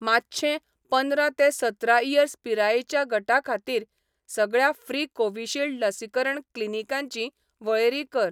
मातशें पंदरा ते सतरा इयर्स पिरायेच्या गटा खातीर, सगळ्या फ्री कोविशिल्ड लसीकरण क्लिनीकांची वळेरी कर.